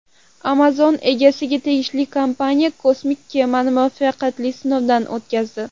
Amazon egasiga tegishli kompaniya kosmik kemani muvaffaqiyatli sinovdan o‘tkazdi.